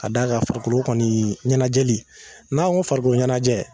Ka d'a kan farikolo kɔni ɲɛnajɛ n'an ko farikoloɲɛnajɛ